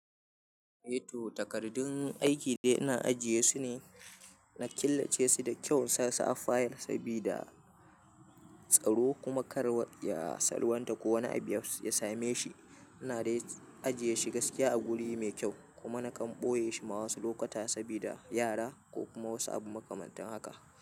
To takardun aiki dai ina ajiye su ne, na killace su da kyau insa su a fayal sabida tsaro kuma kar ya salwanta ko wani abu ya same shi. Ina dai ajiye shi gaskiya a guri mai kyau, kuma na kan ɓoye shi ma wasu lokuta sabida yara ko kuma wasu abu makamantan haka.